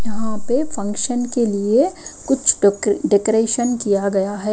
यहाँ पे फंक्शन के लिए कुछ डेकोरेशन किया गया है।